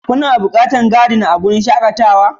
Kuna buƙatar Gardner a wurin shakatawa?